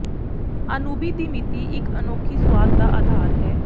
ਅਨੂਬੀ ਦੀ ਮਿਤੀ ਇਕ ਅਨੋਖੀ ਸੁਆਦ ਦਾ ਆਧਾਰ ਹੈ